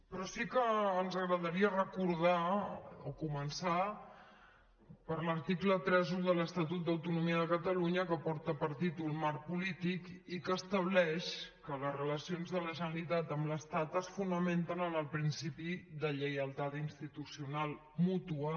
però sí que ens agradaria recordar o començar per l’article trenta un de l’estatut d’autonomia de catalunya que porta per títol marc polític i que estableix que les relacions de la generalitat amb l’estat es fonamenten en el principi de lleialtat institucional mútua